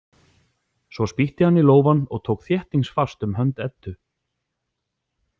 Svo spýtti hann í lófann og tók þéttingsfast um hönd Eddu.